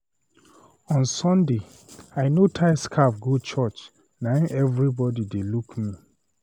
On Sunday, I no tie scarf go church na im everybody dey look me.